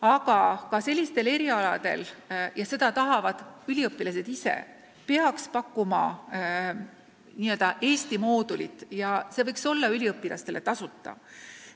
Aga ka sellistel erialadel – ja seda tahavad üliõpilased ise – peaks pakkuma n-ö Eesti moodulit ja see võiks olla noortele tasuta.